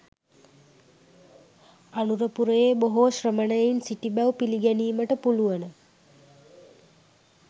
අනුරපුරයේ බොහෝ ශ්‍රමණයින් සිටි බැව් පිළිගැනීමට පුළුවන